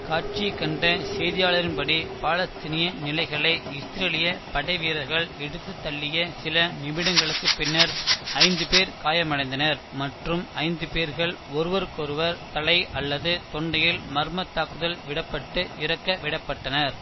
காட்சியக் கண்ட செய்தியாளரின் படி பாலஸ்தீனிய நிலைகளை இஸ்ரேலிய படைவீரர்கள் இடுத்துத் தள்ளிய சில நிமிடங்களுக்குப் பின்னர் ஐந்து பேர் காயமடைந்தனர் மற்றும் ஐந்து பேர்கள் ஒவ்வொருவரும் தலை அல்லது தொண்டையில் மர்மத் தாக்குதல் விட பட்டு இறக்க விட பட்டனர்